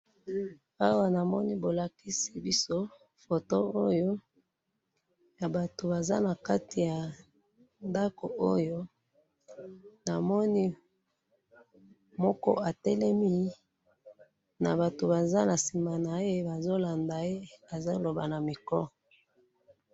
awa namoni bolakisi biso photo oyo ya batou baza naki ya ndakou oyo namoni moko atelemi nabatou baza nasima naye bazo landa ye azo loba na micro